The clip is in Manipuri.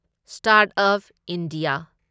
start up India